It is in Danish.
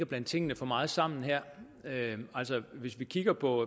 blande tingene for meget sammen her altså hvis vi kigger på